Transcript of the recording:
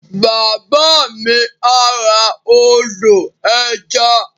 Bàbá mi á ra ọdọ̀-ẹja